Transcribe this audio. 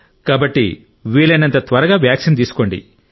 కాబట్టి వీలైనంత త్వరగా వ్యాక్సిన్ తీసుకోండి